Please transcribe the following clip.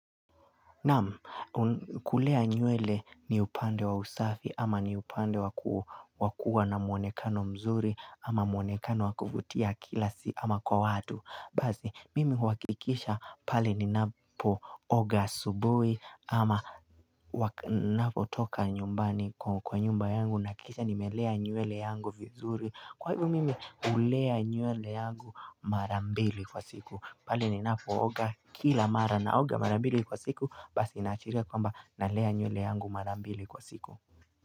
Naam, kulea nywele ni upande wa usafi ama ni upande wakua na mwonekano mzuri ama mwonekano wakuvutia kila si ama kwa watu. Bazi, mimi huhakikisha pale ni napo oga asubui ama napo toka nyumbani kwa nyumba yangu na kisha nimelea nywele yangu vizuri. Kwa hivyo mimi ulea nyule yangu marambili kwa siku pale ninapo oga kila mara na oga marambili kwa siku Basi inachiria kwamba na lea nyule yangu marambili kwa siku.